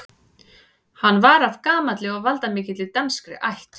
Hann var af gamalli og valdamikilli danskri ætt.